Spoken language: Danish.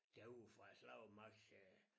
Derude fra æ slagsmark sagde